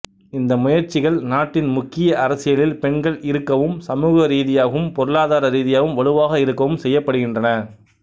இந்த முயற்சிகள் நாட்டின் முக்கிய அரசியலில் பெண்கள் இருக்கவும் சமூக ரீதியாகவும் பொருளாதார ரீதியாகவும் வலுவாக இருக்கவும் செய்யப்படுகின்றன